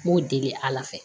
N b'o deli ala fɛ